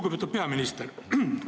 Lugupeetud peaminister!